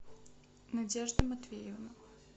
надежда матвеевна